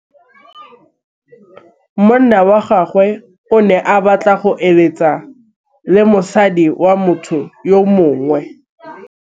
Monna wa gagwe o ne a batla go êlêtsa le mosadi wa motho yo mongwe.